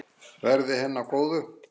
Verði henni að góðu.